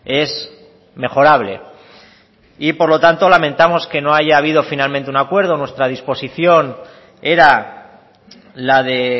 es mejorable y por lo tanto lamentamos que no haya habido finalmente un acuerdo nuestra disposición era la de